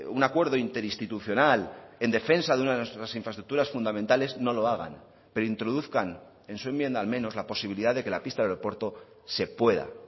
un acuerdo interinstitucional en defensa de una de nuestras infraestructuras fundamentales no lo hagan pero introduzcan en su enmienda al menos la posibilidad de que la pista del aeropuerto se pueda